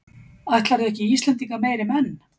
Ætlarðu ekki Íslendinga meiri menn?